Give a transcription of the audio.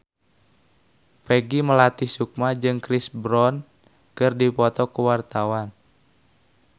Peggy Melati Sukma jeung Chris Brown keur dipoto ku wartawan